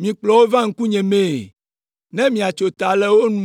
mikplɔ wo va ŋkunyemee ne miatso ta le wo nu.’ ”